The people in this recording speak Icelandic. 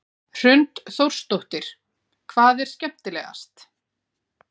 Hrund Þórsdóttir: Hvað er skemmtilegast?